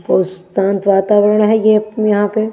और शांत वातावरण है ये यहां पे --